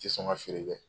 Tɛ sɔn ka feere kɛ